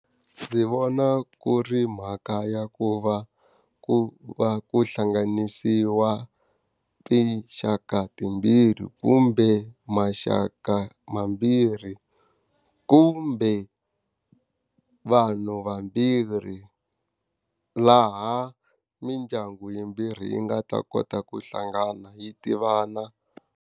Ndzi vona ku ri mhaka ya ku va ku va ku hlanganisiwa tinxaka timbirhi, kumbe maxaka mambirhi, kumbe vanhu vambirhi. Laha mindyangu yimbirhi yi nga ta kota ku hlangana yi tivana.